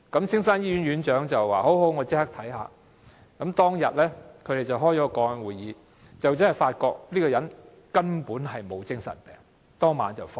青山醫院院長說立即處理，當天他們召開了個案會議，發覺這個人根本沒有精神病後，當晚便讓他離院。